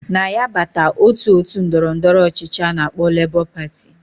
Na ya bata otu otu ndọrọ ndọrọ ọchịchị ana akpo Labour Party.